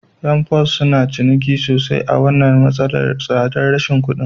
Ƴan "FOS" suna ciniki sosai a wannan matsalar rashin tsabar kuɗin